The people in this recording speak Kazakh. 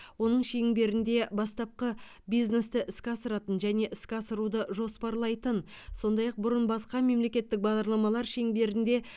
оның шеңберінде бастапқы бизнесті іске асыратын және іске асыруды жоспарлайтын сондай ақ бұрын басқа мемлекеттік бағдарламалар шеңберінде